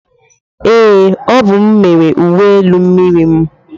Ee, ọ bụ m mere uwe elu miriri mu.